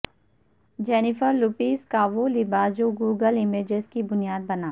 Jennifer Lopez کا وہ لباس جو گوگل امیجز کی بنیاد بنا